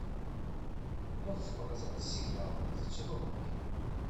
можешь показать сериал зачарованные